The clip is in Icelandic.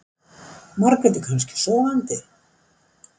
Margrét er kannski sofandi.